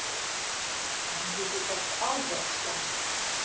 Andlitið datt alveg af Stjána.